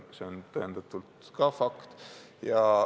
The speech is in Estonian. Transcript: See on fakt.